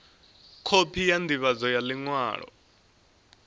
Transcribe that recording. khophi ya ndivhadzo ya liṅwalo